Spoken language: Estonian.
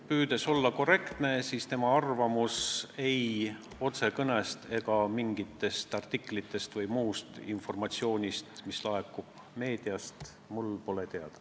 Püüdes olla korrektne, ma kinnitan, et tema arvamus pole mulle ei kõnedest ega mingitest artiklitest või mujalt meediast teada.